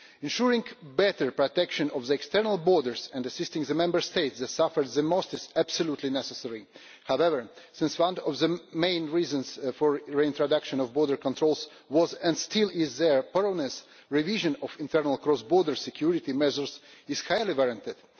Ensuring better protection of the external borders and assisting the Member States that suffer the most is absolutely necessary. However, since one of the main reasons for reintroduction of border controls was and still is their thoroughness, revision of internal cross border security measures is highly warranted.